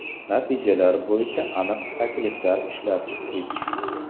Natijalar bo‘yicha aniq takliflar ishlab chiqdik.